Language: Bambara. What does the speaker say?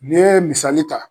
Ni ye misali ta